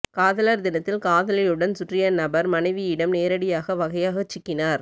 காதலர் தினத்தில் காதலியுடன் சுற்றிய நபர் மனைவியிடம் நேரடியாக வகையாகச் சிக்கினார்